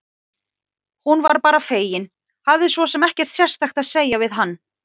Hún var bara fegin, hafði svo sem ekkert sérstakt að segja við hann.